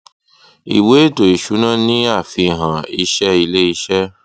ìwé ètò ìsúná ni àfihàn ìṣe ilé iṣẹ